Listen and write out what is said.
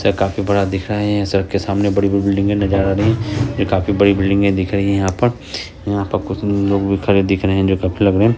सड़क काफी बड़ा दिख रहा है। सड़क के सामने काफी बड़ी-बड़ी बिल्डिंग नज़र आ रही है। यहां काफी बड़ी बिल्डिंग दिख रही है यहां पर यहां पर कुछ लोग भी खड़े दिख रहे है जो कपडे- वपड़े --